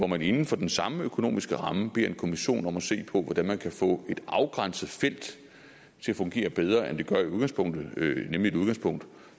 man inden for den samme økonomiske ramme en kommission om at se på hvordan man kan få et afgrænset felt til at fungere bedre end det gør i udgangspunktet nemlig et udgangspunkt